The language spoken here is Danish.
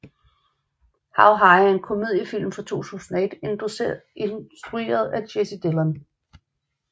How High er en komediefilm fra 2001 instrueret af Jesse Dylan